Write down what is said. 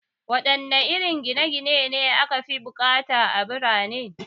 Waɗanne irin gine gine ne aka fi bukata a birane?